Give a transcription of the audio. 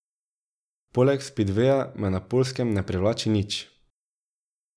Poleg spidveja me na Poljskem ne privlači nič.